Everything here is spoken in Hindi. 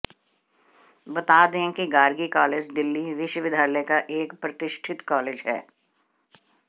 बता दें कि गार्गी कॉलेज दिल्ली विश्वविद्यालय का एक प्रतिष्ठित कॉलेज है